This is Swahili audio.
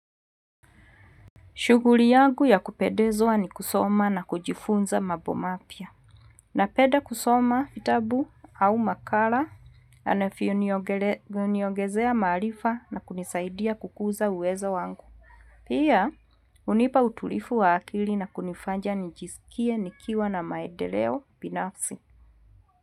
Shughuli yangu ya kupedezwa ni kusoma na kujifunza mambo mapya. Napenda kusoma, vitabu au makala, yanayo niogezea maarifa na kunisaidia kukuza uwezo wangu. Pia, hunipa utulivu wa akili na kunifanya njisikie nikiwa na maendeleo binafsi.